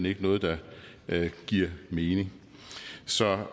ikke noget der giver mening så